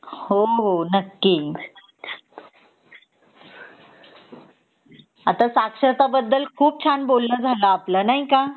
हो हो नक्की आता साक्षरता बद्दल खूप छान बोलण झाल आपल नाही का